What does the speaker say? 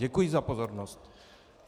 Děkuji za pozornost.